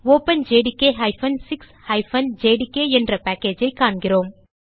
openjdk 6 JDK என்ற packageஐ காண்கிறோம்